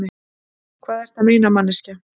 Hvað ertu að meina, manneskja?